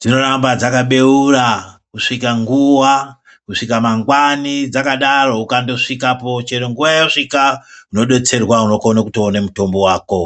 dzinoramba dzaka beura kusvika nguwa, kusvika mangwani dzakadaro, ukandosvikapo, chero nguwa yawasvika , unodetserwa unokone kuone mutombo wako.